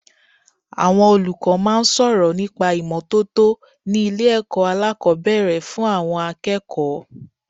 Àwọn olùkọ́ máa ń sọ̀rọ̀ nípa ìmọ́tótó ni ilé ẹ̀kọ́ alákòbẹ̀rẹ̀ fún àwọn akẹ́kọ̀ọ́.